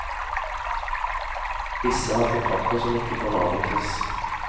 Disse har kontrakter som ikke kan avvikles.